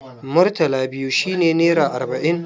Murtala biyu shi ne nera arba'in.